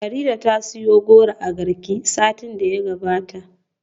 Farida ta siyo goro a Garki satin da ya gabata.